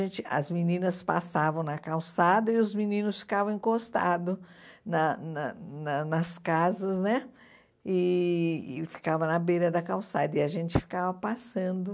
a gente as meninas passavam na calçada e os meninos ficavam encostado na na na nas casas né e ficavam na beira da calçada, e a gente ficava passando.